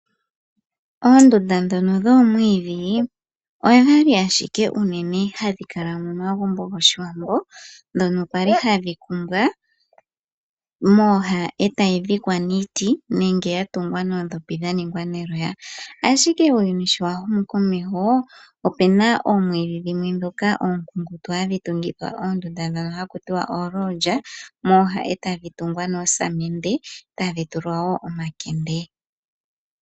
Oondunda ndhoka dhoomwiidhi odhali ashike unene hadhi kala momagumbo goshiwambo, ndhoka kwali hadhi kumbwa mooha e tayi dhikwa niiti, nenge ya tungwa noondhopi dha ningwa neloya. Uuyuni sho wa humu komeho opuna oomwiidhi dhimwe oonkunkutu, hadhi tungithwa oondunda ndhoka haku tiwa oolodja mooha tadhi tungwa noosamende, e tadhi tulwa omakende.